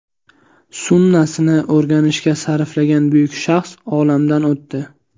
Sunnasini o‘rganishga sarflagan buyuk shaxs olamdan o‘tdi.